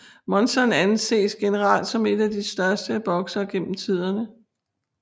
Monzon anses generelt som en af de største boksere gennem tiderne